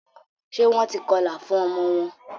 ṣe Wón tí kọla fún omo wón